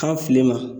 Kan fili ma